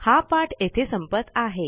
हा पाठ येथे सपंत आहे